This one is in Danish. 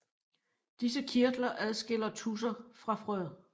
Disse kirtler adskiller tudser fra frøer